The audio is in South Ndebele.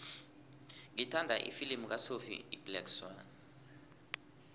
ngithanda ifilimu kasophie iblack swann